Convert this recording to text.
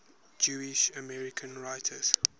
jewish american writers